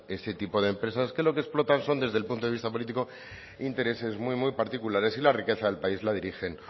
ese tipo de empresas que lo que explotan son desde el punto de vista político intereses muy muy particulares y la riqueza del país la dirigen